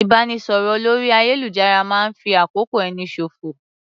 Ìbánisọ̀rọ̀ lórí ayélujára máa ń fi àkókò ẹni ṣòfò